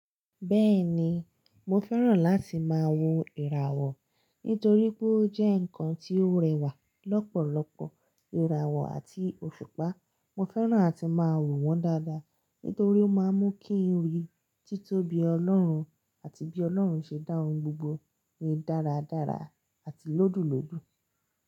Bẹ́ẹ̀ni, mo fẹ́ràn láti máa wo ìràwọ̀ nítorí pé ó jẹ́ ǹkan tí ó rẹwà lọ́pọ̀lọpọ̀. Ìràwọ̀ àti òṣùpá, mo fẹ́ràn àti máa wò wọ́n dáadáa nítorí ó máa ń mú kí oyè títóbi Ọlọ́run àti bí Ọlọ́run ṣe dá ohun gbogbo rí dáradára àti lódùlódù.